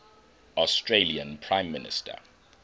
australian prime minister